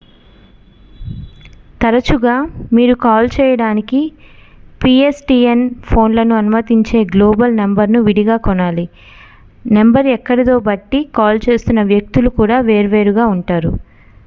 తరచుగా మీరు కాల్ చేయడానికి పిఎస్టిఎన్ ఫోన్లను అనుమతించే గ్లోబల్ నంబరును విడిగా కొనాలి నంబర్ ఎక్కడిదో బట్టి కాల్ చేస్తున్న వ్యక్తులు కూడా వేర్వేరుగా ఉంటారు